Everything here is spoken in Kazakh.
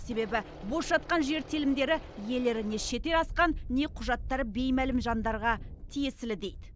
себебі бос жатқан жер телімдері иелері не шетел асқан не құжаттары беймәлім жандарға тиесілі дейді